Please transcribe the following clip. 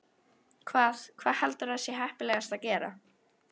Hvað, hvað heldurðu að sé heppilegast að gera?